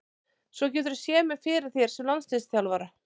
Svo geturðu séð mig fyrir þér sem landsliðsþjálfara?